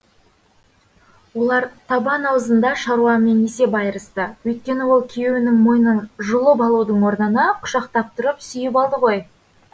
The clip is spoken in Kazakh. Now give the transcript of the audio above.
олар табан аузында шаруамен есеп айырысты өйткені ол күйеуінің мойнын жұлып алудың орнына құшақтап тұрып сүйіп алды ғой